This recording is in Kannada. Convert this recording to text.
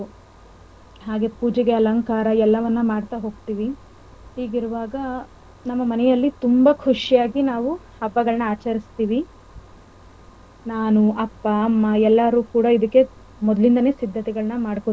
ಹೊಸ ಬಟ್ಟೆಗಳನ್ನ ತಗೋಬರೋದು. ಹಾಗೆ ಪೂಜೆಗೆ ಅಲಂಕಾರ ಎಲ್ಲವನ್ನ ಮಾಡ್ತಾ ಹೋಗ್ತಿವಿ. ಹೀಗಿರುವಾಗ ನಮ್ಮ ಮನೆಯಲ್ಲಿ ತುಂಬಾ ಖುಷಿಯಾಗಿ ನಾವು ಹಬ್ಬಗಳನ್ನ ಆಚರಿಸ್ತಿವಿ ನಾನು ಅಪ್ಪ ಅಮ್ಮ.